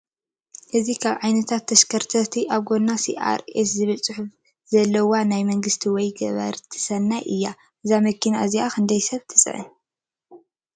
እዚካብ ዓይነታት ተሽከርከርቲ ኣብ ጎና ሲኣር ኤስ ዝብል ፅሑፍ ዘለዋናይ መንግስቲ ወይ ገበርቲ ሰናይ እያ። እዛ መኪና እዚኣ ክንደይ ሰብ ትፅዕን?